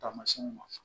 Taamasiɲɛnw ma